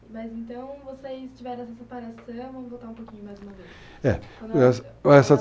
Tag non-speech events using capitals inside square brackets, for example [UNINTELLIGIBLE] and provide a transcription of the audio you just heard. Mas então, vocês tiveram essa separação, vamos voltar um pouquinho mais uma vez. É [UNINTELLIGIBLE]